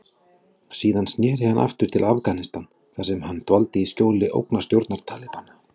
Síðar sneri hann aftur til Afganistan þar sem hann dvaldi í skjóli ógnarstjórnar Talibana.